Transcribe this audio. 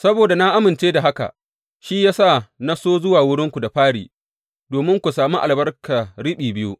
Saboda na amince da haka, shi ya sa na so zuwa wurinku da fari, domin ku sami albarka riɓi biyu.